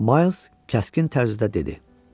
Miles kəskin tərzdə dedi: